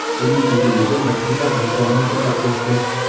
uning uzunligi bir kunda bir kilometrga o‘sdi.